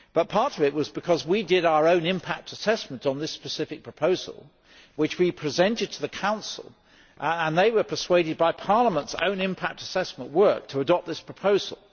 Part of it was because we carried out our own impact assessment on this specific proposal, which we presented to the Council and they were persuaded by Parliament's own impact assessment work to adopt this proposal.